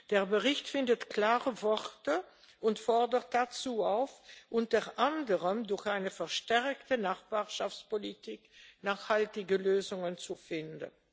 Der Bericht findet klare Worte und fordert dazu auf, unter anderem durch eine verstärkte Nachbarschaftspolitik nachhaltige Lösungen zu finden.